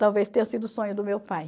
Talvez tenha sido o sonho do meu pai.